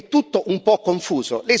È tutto un po' confuso.